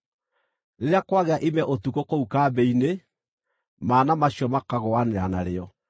Rĩrĩa kwagĩa ime ũtukũ kũu kambĩ-inĩ, mana macio makagũanĩra narĩo.